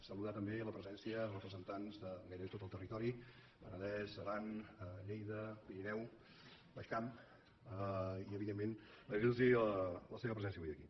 saludar també la presència de representants de gairebé tot el territori penedès aran lleida pirineu baix camp i evidentment agrair los la seva presència avui aquí